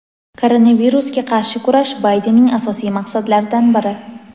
Koronavirusga qarshi kurash Baydenning asosiy maqsadlaridan biri.